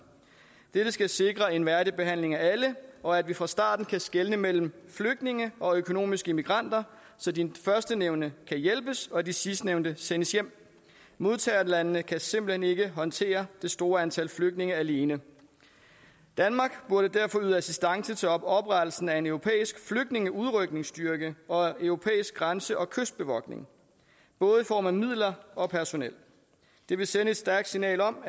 dette skal sikre en værdig behandling af alle og at vi fra starten kan skelne mellem flygtninge og økonomiske migranter så de førstnævnte kan hjælpes og de sidstnævnte sendes hjem modtagerlandene kan simpelt hen ikke håndtere det store antal flygtninge alene danmark burde derfor yde assistance til oprettelsen af en europæisk flygtningeudrykningsstyrke og europæisk grænse og kystbevogtning både i form af midler og personel det ville sende et stærkt signal om